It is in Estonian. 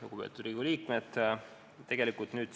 Lugupeetud Riigikogu liikmed!